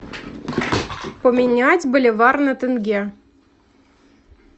поменять боливар на тенге